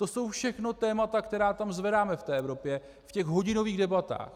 To jsou všechno témata, která tam zvedáme v té Evropě v těch hodinových debatách.